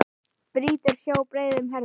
Brýtur sjó á breiðum herðum.